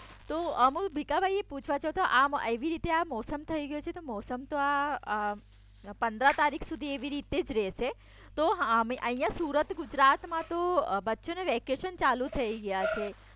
તો અમો ભીખાભાઇને પૂછવા છો તો આમ એવી રીતે મોસમ થઈ ગયો છે તો મોસમ તો આ પનદરા તારીખ એવી જ રીતે રેશે. તો અહિયાં સુરત ગુજરાતમાં બચો ને વેકેશન ચાલુ થઈ ગયા છે